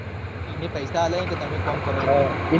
એને પૈસા આલ્યા હેક તમે કોમ કરો.